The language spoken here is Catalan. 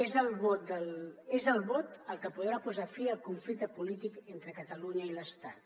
és el vot el que podrà posar fi al conflicte polític entre catalunya i l’estat